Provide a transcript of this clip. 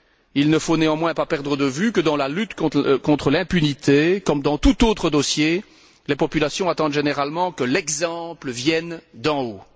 Il ne faut néanmoins pas perdre de vue que dans la lutte contre l'impunité, comme dans tout autre dossier, les populations attendent généralement que l'exemple vienne d'en haut.